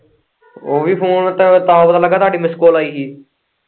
ਓਵੀਂ phone ਤੇ ਤਾਂ ਪਤਾ ਲੱਗਾ ਹੀ ਤੁਹਾਂਡੀ miss call ਆਈ ਹੀ।